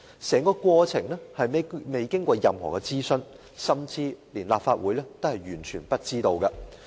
整個過程沒有經過任何諮詢，甚至連立法會也毫不知情。